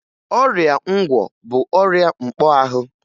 Ọrịa ngwọ bụ ọrịa mkpọahụ